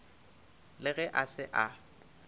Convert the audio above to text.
le ge a se a